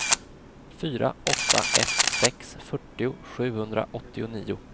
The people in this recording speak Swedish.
fyra åtta ett sex fyrtio sjuhundraåttionio